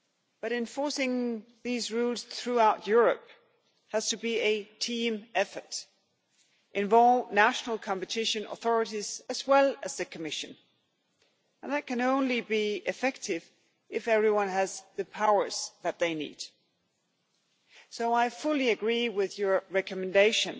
But enforcing these rules throughout Europe has to be a team effort, involve national competition authorities as well as the Commission and that can only be effective if everyone has the powers that they need. So I fully agree with your recommendation